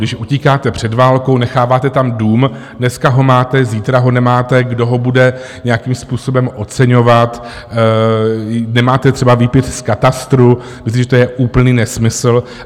Když utíkáte před válkou, necháváte tam dům, dneska ho máte, zítra ho nemáte, kdo ho bude nějakým způsobem oceňovat, nemáte třeba výpis z katastru, myslím, že to je úplný nesmysl.